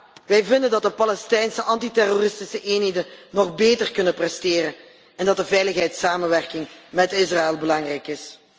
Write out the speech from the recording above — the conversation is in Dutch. En ja, wij vinden dat de Palestijnse antiterroristische eenheden nog beter kunnen presteren en dat de veiligheidssamenwerking met Israël belangrijk is.